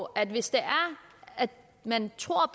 at hvis det er man tror